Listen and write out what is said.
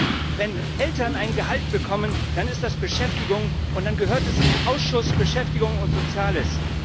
Denn wenn Eltern ein Gehalt bekommen, dann ist das Beschäftigung, und dann gehört es in den Ausschuss für Beschäftigung und Soziales.